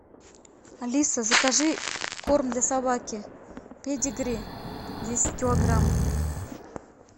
алиса закажи корм для собаки педигри десять килограмм